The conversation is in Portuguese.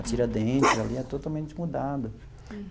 A Tiradentes ali é totalmente mudado.